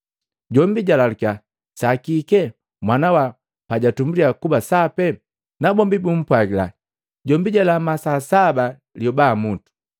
Jombi jalalukiya saa kike mwana wa pajatumbuliya kuba sapi, nabombi bumpwagila, “Jombi jalama saa saba lioba mutu.”